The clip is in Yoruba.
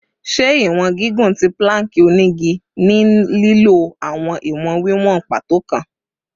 Ṣe iwọn gigun ti plank onigi ni lilo awọn iwọn wiwọn pàtó kan